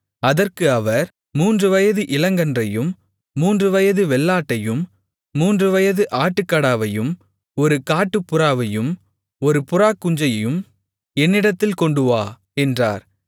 அதற்கு அவர் மூன்றுவயது இளங்கன்றையும் மூன்றுவயது வெள்ளாட்டையும் மூன்றுவயது ஆட்டுக்கடாவையும் ஒரு காட்டுப்புறாவையும் ஒரு புறாக்குஞ்சையும் என்னிடத்தில் கொண்டுவா என்றார்